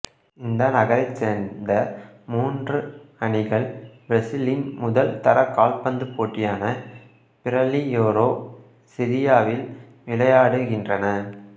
இந்த நகரைச் சேர்ந்த மூன்று அணிகள் பிரேசிலின் முதல் தர கால்பந்து போட்டியான பிரேலியேரோ சீரி ஆவில் விளையாடுகின்றன